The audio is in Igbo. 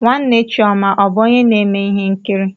Nwanne chioma ọ bụ onye na-eme ihe nkiri?